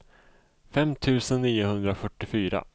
fem tusen niohundrafyrtiofyra